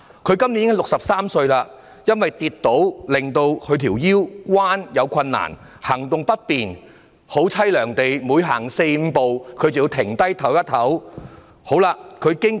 她今年已63歲，因為跌倒，令她彎腰有困難，行動不便，她每走四五步便要稍作休息，境況實在悽涼。